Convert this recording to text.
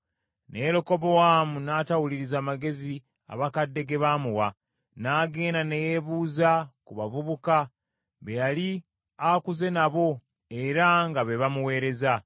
Naye Lekobowaamu n’atawuliriza magezi abakadde ge baamuwa, n’agenda ne yeebuuza ku bavubuka be yali akuze nabo, era nga be bamuweereza.